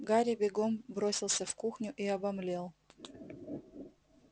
гарри бегом бросился в кухню и обомлел